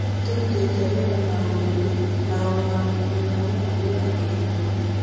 nĩ tũrutĩte wĩra na ũnene na ũrũgamĩrĩri wa ng'aragu ya kĩbũrũri